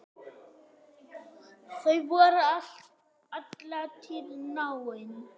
Þau voru alla tíð náin.